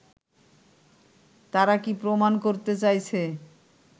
তারা কি প্রমাণ করতে চাইছে